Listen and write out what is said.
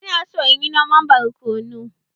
Ina so inyi noman borkonu.